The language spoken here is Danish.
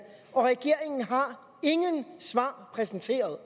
og regeringen har ingen svar præsenteret